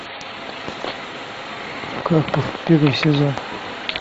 карпов первый сезон